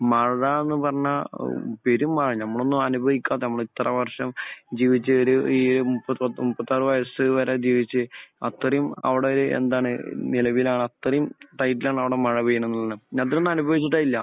മഴ എന്ന് പറഞ്ഞാൽ ഔ പെരുമഴ. നമ്മളൊന്നും അനുഭവിക്കാത്ത നമ്മൾ ഇത്ര വർഷം ജീവിച്ച ഒരു ഈ മുപ്പത്തി ഒന്ന് മുപ്പത്തിയാറ് വയസ്സ് വരെ ജീവിച്ച് അത്രയും അവിടെ എന്താണ് നിലവിലാണ് അത്രയും റേറ്റിലാണ് അവിടെ മഴ പെയ്യുന്നതെന്ന് പറഞ്ഞാൽ. നമ്മളൊന്നും അനുഭവിച്ചിട്ടേ ഇല്ല.